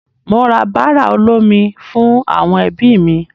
Mò ń ra bàrà olómi fún àwọn ẹbí mi.